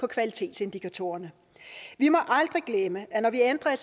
kvalitetsindikatorerne vi må aldrig glemme at når vi ændrer